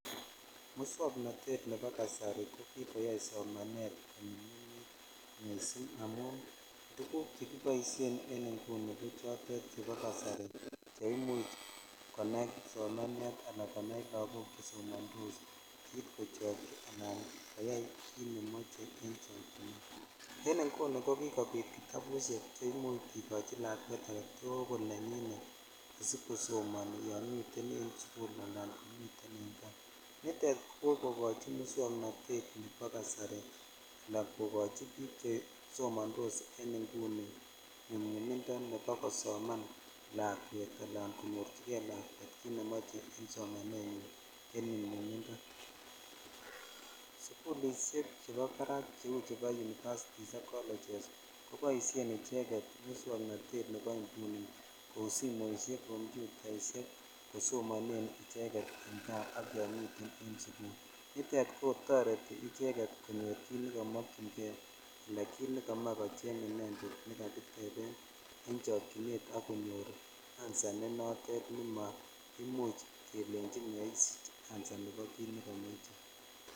Moswoknotet nebo kasari ko kikoyai somanet kokaranit amun tuguk chrkiboishen en inguni ko tuguk chebo kasari che imuch konai kipsomaniat ala lakok chesomondos kosib kit kochoikyi ala koyai kit nemoche en sobenyan en inguni ko kilkobit kitabushek che imuch kikochi lakwet kosoman kokochin aketul nenyin yomiten sukul sla en kaa nitet ko kokokochi muswoknotet nebo kasari ala bik chesomondos en inguni nyomnyumondo kosoman lakwet ala konyorchikei lakwet en somanet en inguni en sukulishek chebo barak University ak colleges koboishen icheket muswoknotet ab kasari ko simoishek ,computaishek kosomone icheget indap rabinik nitet kotoret konyorchikei kit nekamokyin kei al kit nekomoe kocheng inended en chokchinet ak konyor answer ne notet ne maimuch kelechi maisich answer nebo kioton.